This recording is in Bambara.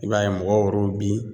I b'a ye mɔgɔw yɛr'o bi